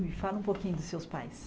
Me fala um pouquinho dos seus pais.